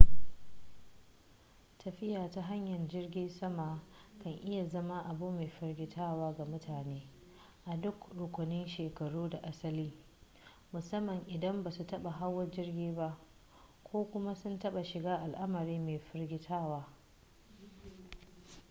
tafiya ta hanyar jirgin sama kan iya zama abu mai firgitarwa ga mutane a duk rukunin shekaru da asali musamman idan ba su taɓa hawa jirgi ba ko kuma sun taɓa shiga al'amari mai firgitarwa